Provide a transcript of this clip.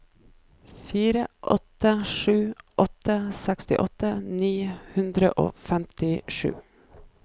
fire åtte sju åtte sekstiåtte ni hundre og femtisju